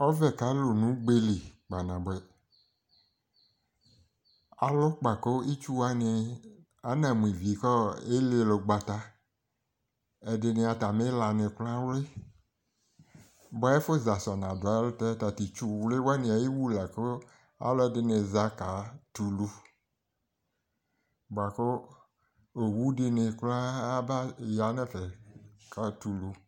ɔvɛ ka lo no ugbe li kpa naboɛ alo kpa ko itsu wani ana mo ivi ko elile ugbata ɛdini atami la ni kora awli boa ɛfo za so ɔna do ɛlotɛ ta to itsu wli wani ayiwu la ko alo ɛdini za ka tɛ ulu boa ko owu dini kora aba ya no ɛfɛ katɛ ulu